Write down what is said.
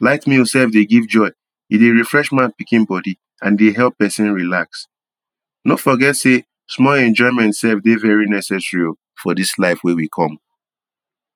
Light meal sef dey give joy — e dey refresh man pikin body and e dey help pesin relax. No forget say small enjoyment dey very necessary o, for dis life wey we come.